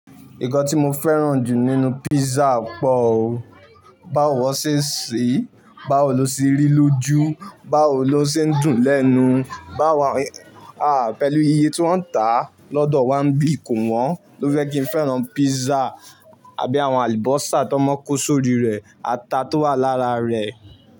Ìkàn tí mo fẹ́ràn jù nínú pizza pọ̀ o. Báwo wọ́n ṣe ṣe, báwo ló ṣe rí lójú, báwo ló ṣe ń dùn lẹ́nu, báwo, à pẹ̀lú iye tí wọ́n ń tà lọ́dọ̀ Wambi Kowọ́n ló jẹ́ kí n fẹ́ràn pizza àbí àwọn alibọ́sá tan mo ń kó sórí rẹ̀, ata tó wà lára rẹ̀